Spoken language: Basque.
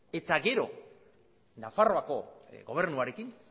eta gero nafarroako gobernuarekin